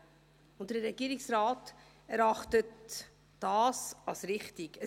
Der Regierungsrat erachtet dies als richtig.